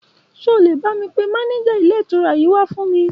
Ṣó lè bá mi pé mànéjà ilé ìtura yìí wà fún mi?